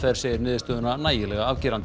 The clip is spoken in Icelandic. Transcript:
segir niðurstöðuna nægilega afgerandi